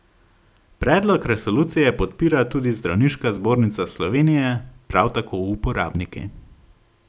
Predlog resolucije podpira tudi Zdravniška zbornica Slovenije, prav tako uporabniki.